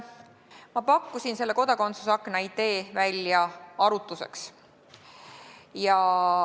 Ma pakkusin selle kodakondsuse akna idee välja arutluseks.